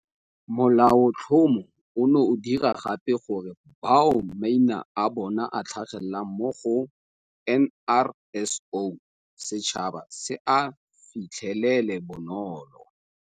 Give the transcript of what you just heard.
Molaotlhomo ono o dira gape gore bao maina a bona a tlhagelelang mo go NRSO setšhaba se a fitlhelele bonolo.